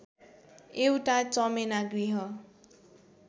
एउटा चमेना गृह